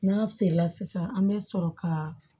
N'a feerela sisan an bɛ sɔrɔ ka